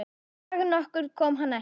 Dag nokkurn kom hann ekki.